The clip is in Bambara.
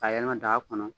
Ka yɛlɛma daga kɔnɔ